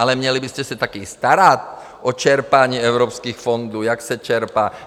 Ale měli byste se také starat o čerpání evropských fondů, jak se čerpají.